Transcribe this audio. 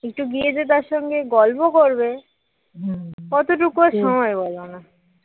একটু গিয়ে দিদার সাথে গল্প করবে কতটুকু সময় বলো?